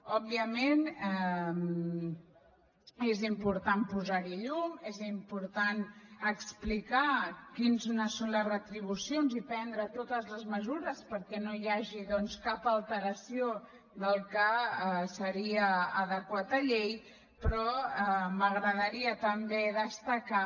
òbviament és important posar hi llum és important explicar quines són les retribucions i prendre totes les mesures perquè no hi hagi doncs cap alteració del que seria adequat a llei però m’agradaria també destacar